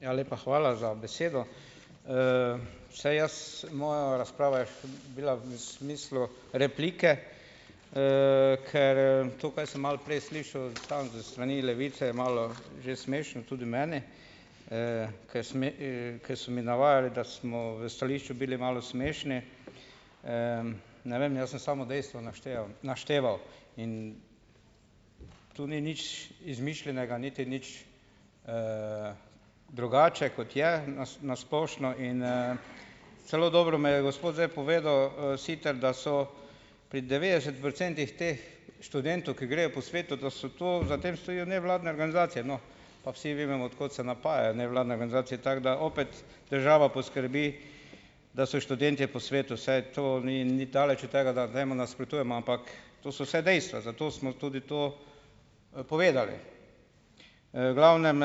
Ja, lepa hvala za besedo! Saj jaz, moja razprava je bila v smislu replike, ker to, kaj sem malo prej slišal, tam s strani Levice, je malo že smešno tudi meni, ke so mi, ker so mi navajali, da smo v stališču bili malo smešni. Ne vem, ja sem samo dejstva našteval, in to ni nič izmišljenega niti nič drugače, kot je na na splošno. In, celo dobro mi je gospod zdaj povedal, Siter, da so pri devetdeset procentih teh študentov, ki grejo po svetu, da so to, za tem stojijo nevladne organizacije, no, pa vsi vemo, od kot se napaja nevladne organizacije, tako da opet država poskrbi, da so študentje po svetu, saj to ni, daleč od tega, da temu nasprotujem, ampak to so vse dejstva, zato smo tudi to, povedali. Glavnem,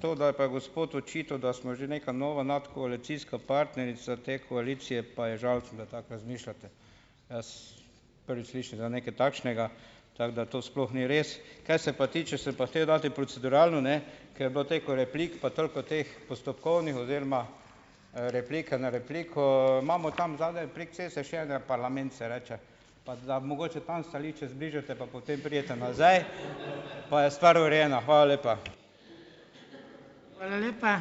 to, da je pa gospod očital, da smo že neka nova nadkoalicijska partnerica te koalicije, pa je žalosten, da tako razmišljate. Prvič slišim za nekaj takšnega, tako da to sploh ni res. Kaj se pa tiče, ste pa hotel dati proceduralno, ne, ker je bilo toliko replik pa toliko teh postopkovnih oziroma, replika na repliko, imamo tam zadaj prek ceste še en parlament, se reče, pa da mogoče tam stališča zbližate pa potem pridete nazaj, pa je stvar urejena. Hvala lepa.